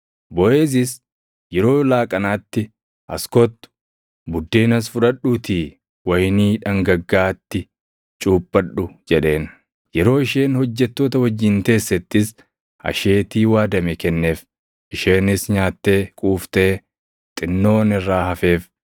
Boʼeezis yeroo laaqanaatti, “As kottu. Buddeenas fudhadhuutii wayinii dhangaggaaʼaatti cuuphadhu” jedheen. Yeroo isheen hojjettoota wajjin teessettis asheetii waadame kenneef. Isheenis nyaattee quuftee xinnoon irraa hafeef.